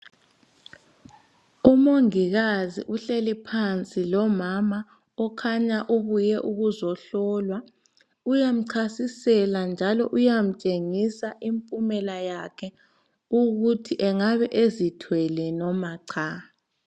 Umongikazi uhleli phansi lomama okhanya ubuye ukuzohlolwa. Uyamchasisela njalo uyamtshengisa impumela yakhe ukuthi engabe ezithwele noma cha.